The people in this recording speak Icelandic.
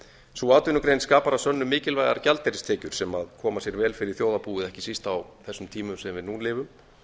sú atvinnugrein skapar að sönnu mikilvægar gjaldeyristekjur sem koma sér vel fyrir þjóðarbúið ekki síst á þessum tímum sem við nú lifum